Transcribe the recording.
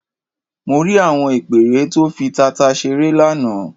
Mo rí àwọn ìpẹ́ẹ́rẹ́ tó fi tata ṣeré lánàá.